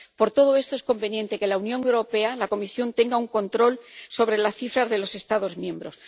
Por todo eso, es conveniente que la Unión Europea —la Comisión— tenga un control sobre las cifras de los Estados miembros.